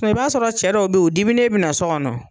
i b'a sɔrɔ cɛ dɔw bɛ yen o diminen bɛ na so kɔnɔ.